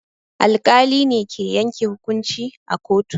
Alƙali ne ke yanke hukunci a kotu.